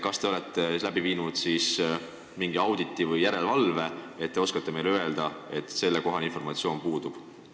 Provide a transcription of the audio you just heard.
Kas te olete läbi viinud mingi auditi või järelevalvemenetluse, et saate meile öelda, et teil selle kohta informatsiooni ei ole?